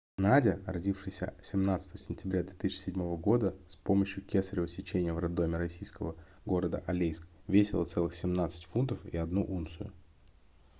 надя родившаяся 17 сентября 2007 года с помощью кесарева сечения в роддоме российского города алейск весила целых 17 фунтов и одну унцию